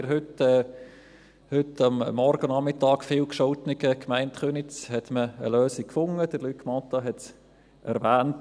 In der heute Morgen und Nachmittag viel gescholtenen Gemeinde Köniz hat man eine Lösung gefunden, Luc Mentha hat es erwähnt.